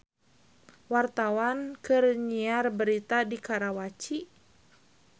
Wartawan keur nyiar berita di Karawaci